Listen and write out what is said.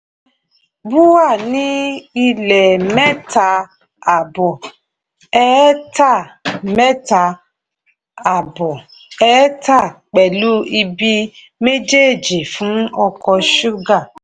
oúnjẹ bua ní ilẹ̀ mẹ́ta àbọ̀ ẹ́ẹ̀tà mẹ́ta àbọ̀ ẹ́ẹ̀tà pẹ̀lú ibi méjèèjì fún oko ṣúgà.